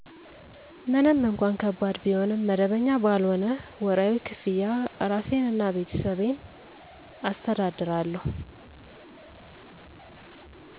ምንም እንኳን ከባድ ቢሆንም *መደበኛ ባልሆነ ወርሀዊ ክፍያ እራሴን እና ቤተሰቤን አስተዳድራለሁ።